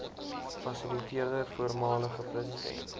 fasiliteerder voormalige president